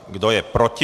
Kdo je proti?